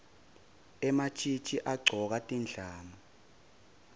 ematjitji agcoke tindlamu